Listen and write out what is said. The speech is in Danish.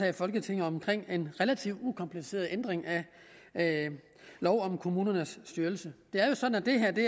i folketinget om en relativt ukompliceret ændring af lov om kommunernes styrelse det er jo sådan at det